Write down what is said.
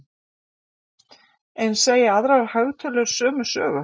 En segja aðrar hagtölur sömu sögu?